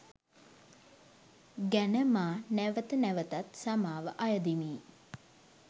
ගැන මා නැවත නැවතත් සමාව අයදිමි.